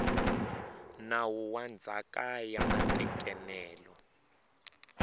nawu wa ndzhaka ya matekanelo